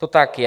To tak je.